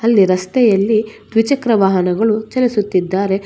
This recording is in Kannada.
ಅಲ್ಲಿ ರಸ್ತೆಯಲ್ಲಿ ದ್ವಿಚಕ್ರ ವಾಹನಗಳು ಚಲಿಸುತ್ತಿದ್ದಾರೆ.